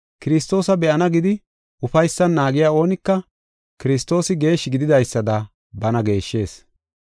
Kiristoosa be7ana gidi ufaysan naagiya oonika, Kiristoosi geeshshi gididaysada bana geeshshees.